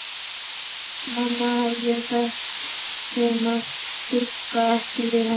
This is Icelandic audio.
Mamma hafði sagt þeim að stugga ekki við henni.